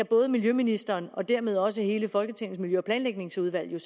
både miljøministeren og dermed også hele folketingets miljø og planlægningsudvalg kan